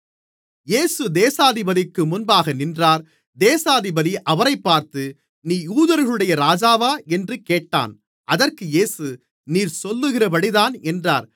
இயேசு தேசாதிபதிக்கு முன்பாக நின்றார் தேசாதிபதி அவரைப் பார்த்து நீ யூதர்களுடைய ராஜாவா என்று கேட்டான் அதற்கு இயேசு நீர் சொல்லுகிறபடிதான் என்றார்